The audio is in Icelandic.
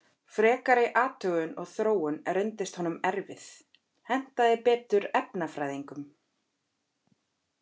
Frekari athugun og þróun reyndist honum erfið, hentaði betur efnafræðingum.